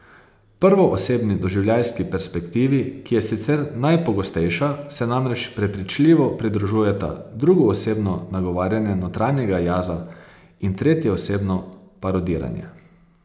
Prvoosebni doživljajski perspektivi, ki je sicer najpogostejša, se namreč prepričljivo pridružujeta drugoosebno nagovarjanje notranjega jaza in tretjeosebno parodiranje.